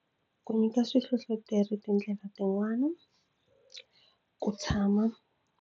Ku nyika swihlohloteri tindlela tin'wani ku tshama.